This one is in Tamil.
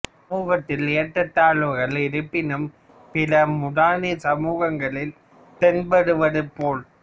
சமூகத்தில் ஏற்றத்தாழவுகள் இருப்பினும் பிற முதனி சமூகங்களில் தென்படுவது போல்